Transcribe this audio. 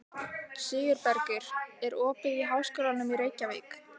Sigurbergur, er opið í Háskólanum í Reykjavík?